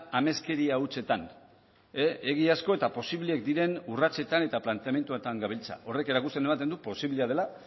ameskeria hutsetan egiazko eta posible diren urratsetan eta planteamenduetan gabiltza horrek erakusten ematen du posiblea dela